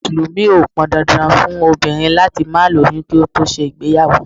Àwọn Mùsùlùmí o pọn dandan fún obìnrin láti má lóyún kí ó tó ṣe ìgbéyàwó.